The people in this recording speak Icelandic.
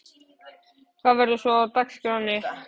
Hvað verður svo á dagskránni?